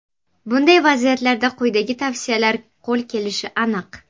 Bunday vaziyatlarda quyidagi tavsiyalar qo‘l kelishi aniq.